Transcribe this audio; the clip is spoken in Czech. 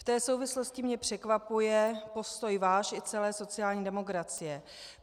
V té souvislosti mě překvapuje postoj váš i celé sociální demokracie.